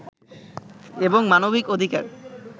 এবং মানবিক অধিকার